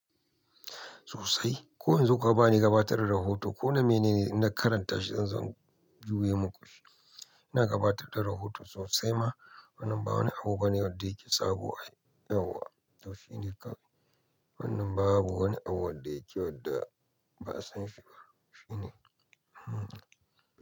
Sosai, ko yanzu kuka bani gabatar da rahoto ko na mene inna karanta shi zan juye muku. Ina gabatar da rahoto sosai ma. Wannan ba wani abu bane wadda yake sabo ai yawwa. To shi ne kawai. Wannan babu wanda yake wadda ba'a san shi ba, Shi ne.